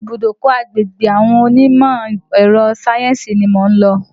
Ibùdọ́kọ̀ agbègbè àwọn onímọ̀ ẹrọ sáyẹ́nsì ni mò ń lọ.